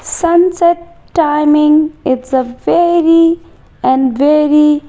sunset timing it's a very and very --